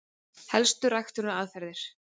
Helstu ræktunaraðferðir: